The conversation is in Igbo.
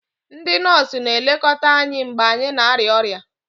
Ndị nọọsụ na-elekọta anyị mgbe anyị na-arịa ọrịa